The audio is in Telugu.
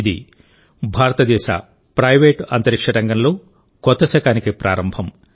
ఇది భారతదేశ ప్రైవేట్ అంతరిక్ష రంగంలో కొత్త శకానికి ప్రారంభం